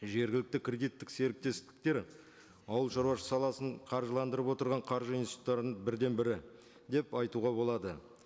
жергілікті кредиттік серіктестіктер ауылшаруашылық саласын қаржыландырып отырған қаржы институттарының бірден бірі деп айтуға болады